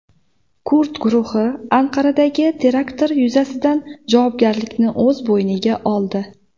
Kurd guruhi Anqaradagi terakt yuzasidan javobgarlikni o‘z bo‘yniga oldi.